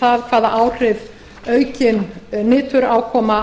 það hvaða áhrif aukin niturákoma